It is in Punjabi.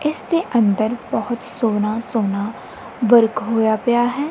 ਇਸ ਦੇ ਅੰਦਰ ਬਹੁਤ ਸੋਹਣਾ ਸੋਹਣਾ ਵਰਕ ਹੋਇਆ ਪਿਆ ਹੈ।